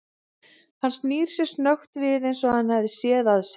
Hann snýr sér snöggt við eins og hann hafi séð að sér.